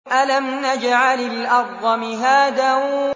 أَلَمْ نَجْعَلِ الْأَرْضَ مِهَادًا